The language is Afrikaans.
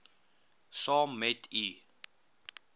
saam met u